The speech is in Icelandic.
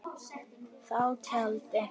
Þá taldi